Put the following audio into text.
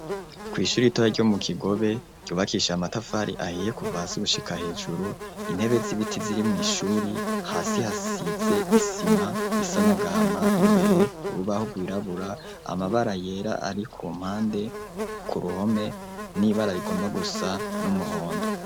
kw' ishuri Itora ryo mu Kigobe ryubakishije amatafari ahiye kuva hasi gushika hejuru, intebe z'ibiti ziri mw' ishuri, hasi hasize isima isa n' agahama, imbere urubaho rwirabura, amabara yera ari ku mpande, ku ruhome n'ibara rigomba gusa n'umuhondo.